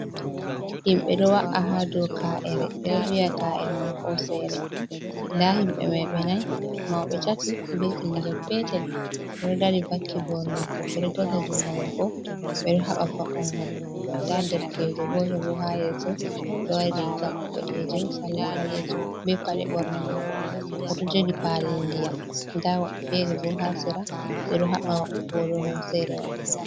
Yimɓe ɗo wa’a ha dow kaa'e, ɗo wi'a kaa’ere mai hooseere, da yimɓe mai ɓe nay mauɓe tati bee ɓingel peetel bo ɗo dari vakki booro maako, ɓe ɗo dasa junngo maako, ɓe ɗo haɓa va’ungo. Bo daa derkeejo gooto bo ha yeeso, oɗo waɗi riiga boɗeejum, salla ɓaleejum, bee paɗe ɓorne maako, oɗo jogi palli ndiyam. Nda woɓɓe feere bo haa sera ɓe ɗo haɓa wa’ugo dow hooseere mai.